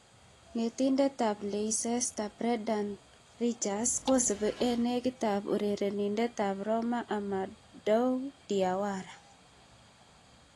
(Football Insider) Netindet ab Leicester Brendan Ridgers kosubi eng negitet urerenindet ab Roma Amadou Diawara.